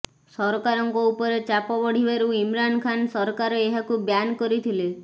ସରକାରଙ୍କ ଉପରେ ଚାପ ବଢ଼ିବାରୁ ଇମ୍ରାନ ଖାନ ସରକାର ଏହାକୁ ବ୍ୟାନ୍ କରିଥିଲେ